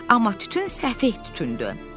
Amma tütün səfeh tütündür.